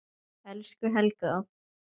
Elsku Helga.